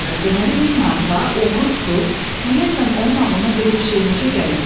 Deməli, 1000 marka, oğru tutub, ümumiyyətlə onun ağlına belə bir şey necə gəlib?